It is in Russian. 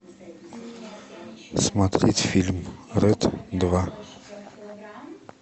смотреть фильм рэд два